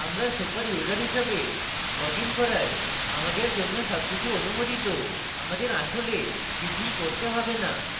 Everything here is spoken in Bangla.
আমরা superuser হিসেবে লগ in করায় আমাদের জন্য সবকিছু অনুমোদিত আমাদের আসলে কিছুই করতে have না